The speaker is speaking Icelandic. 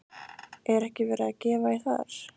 Er ekki verið að gefa í þar?